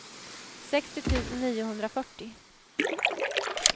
sextio tusen niohundrafyrtio